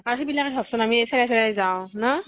বাকী বিলাকে ভাব চোন আমি চেৰাই চেৰাই যাওঁ, ন ?